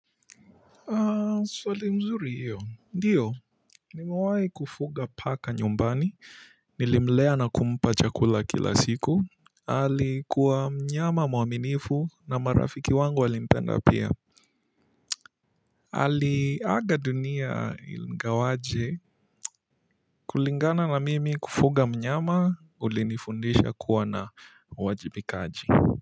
Swali mzuri hiyo ndiyo nimewai kufuga paka nyumbani, nilimlea na kumpa chakula kila siku alikuwa mnyama mwaminifu na marafiki wangu walimpenda pia. Aliaga dunia igawaje kulingana na mimi kufuga mnyama ulinifundisha kuwa na uwajibikaji.